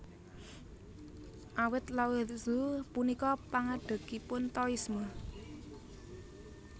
Awit Lao Tzu punika pangadegipun Taoisme